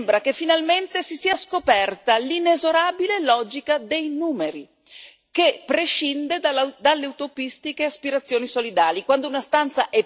Lui dice che sembra che finalmente si sia scoperta l'inesorabile logica dei numeri, che prescinde dalle utopistiche aspirazioni solidali.